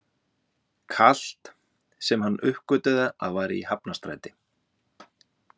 Kalt, sem hann uppgötvaði að var í Hafnarstræti.